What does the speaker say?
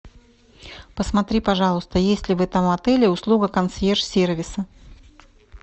посмотри пожалуйста есть ли в этом отеле услуга консьерж сервиса